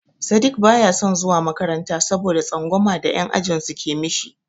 Sadiq baya son zuwa makaranta saboda tsangwama da yan' ajinsu ke mishi.